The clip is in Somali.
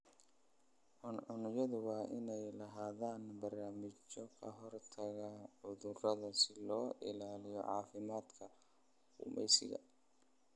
Cuncunyadu waa inay lahaadaan barnaamijyo kahortaga cudurada si loo ilaaliyo caafimaadka gumeysiga.